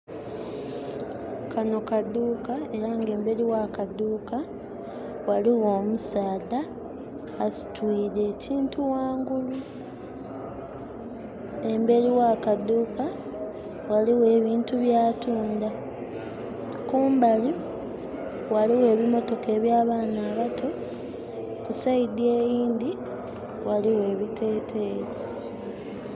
Kano kaduuka era nga emberi wa kaduuka waliwo omusaadha asitwire ekintu wangulu. Emberi wa kaduuka waliwo ebintu bya tunda. Kumbali waliwo ebimotoka eby' abaana abato, ku saidi eyindi waliwo ebiteteyi.